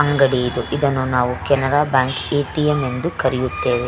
ಅಂಗಡಿ ಇದು ಇದನ್ನು ನಾವು ಕೆನರಾ ಬ್ಯಾಂಕ್ ಎ.ಟಿ.ಎಂ ಎಂದು ಕರೆಯುತ್ತೇವೆ.